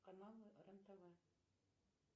каналы рен тв